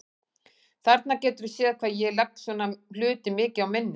Þarna geturðu séð hvað ég legg svona hluti mikið á minnið!